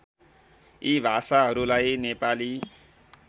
यी भाषाहरूलाई नेपाली